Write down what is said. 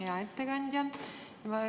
Hea ettekandja!